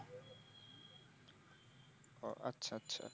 ওহ আচ্ছা আচ্ছা।